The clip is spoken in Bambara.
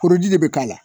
Koroji de bɛ k'a la